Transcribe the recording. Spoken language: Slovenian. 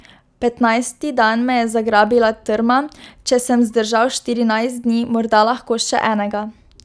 Petnajsti dan me je zagrabila trma, če sem zdržal štirinajst dni, morda lahko še enega.